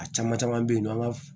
A caman caman bɛ yen nɔ an ka